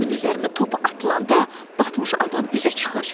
Suyun üzərində top atılanda batmış adam üzə çıxır.